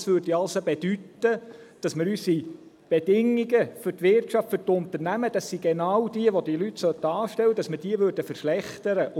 Das würde also bedeuten, dass wir unsere Bedingungen für die Wirtschaft, für die Unternehmen – das sind genau diejenigen, die diese Leute anstellten sollten – verschlechtern würden.